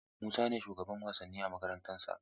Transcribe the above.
Musa ne shugaban wasanni a makarantarsa.